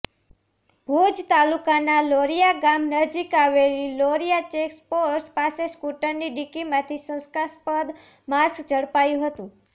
ભુજ તાલુકાના લોરીયા ગામ નજીક આવેલી લોરીયા ચેકપોસ્ટ પાસે સ્કુટરની ડીકીમાંથી શંકાસ્પદ માંસ ઝડપાયું હતું